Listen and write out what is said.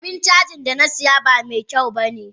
Abun cajin Dana siya ba mekyaun bane